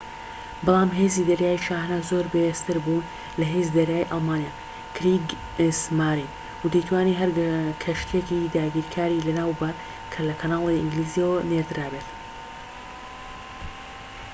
بەڵام هێزی دەریایی شاهانە زۆر بەهێزتر بوو لە هێزی دەریایی ئەڵمانیا کریگسمارین و دەیتوانی هەر کەشتییەکی داگیرکاری لەناو ببات کە لە کەناڵی ئینگلیزییەوە نێردرابێت